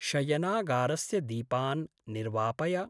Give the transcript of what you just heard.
शयनागारस्य दीपान् निर्वापय।